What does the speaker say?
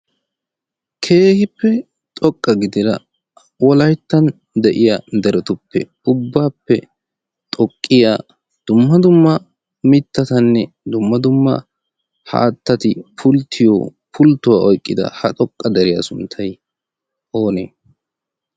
keehippe xoqqa gidira wolaittan de'iya derotuppe ubbaappe xoqqiya dumma dumma mittatanne dumma dumma haattati pulttiyo pulttuwaa oyqqida ha xoqqa deriyaa sunttay oonee?